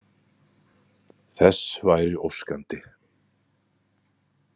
Þess væri óskandi.